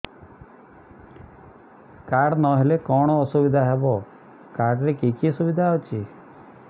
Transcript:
card ନହେଲେ କଣ ଅସୁବିଧା ହେବ କାର୍ଡ ରେ କି କି ସୁବିଧା ଅଛି